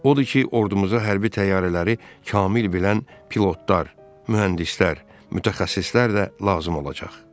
Odur ki, ordumuza hərbi təyyarələri kamil bilən pilotlar, mühəndislər, mütəxəssislər də lazım olacaq.